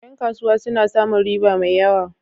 Ƴan kasuwa suna samun riba mai yawa.